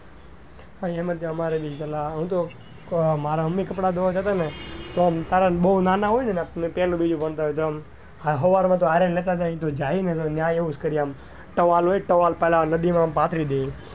હા અમારે બી હું તો પેલા માર મમ્મી કપડા ધોવા જતા ને તો તો ત્યારે તો બઉ નાના હતા ને પેલું બીજું ભણતા હોય તો આમ સવારે તો સાથે લેતા જાય જઈએ ને તો ત્યાં એવું જ કરત towel ની towel પથરી દઈએ.